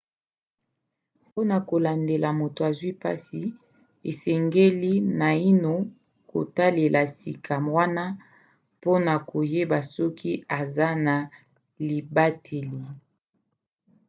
mpona kolandela moto azwi mpasi osengeli naino kotalela sika wana mpona koyeba soki eza na libateli